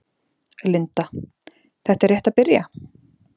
Linda: Þetta er rétt að byrja?